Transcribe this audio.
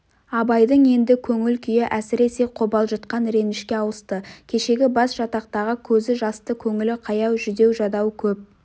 абайдың енді көңіл күйі әсіресе қобалжытқан ренішке ауысты кешегі басжатақтағы көзі жасты көңілі қаяу жүдеу-жадау көп